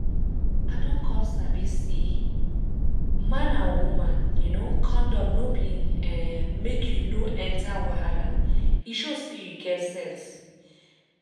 i don come sabi say man and woman um condom no be[um]make you no enter wahala e show say you get sense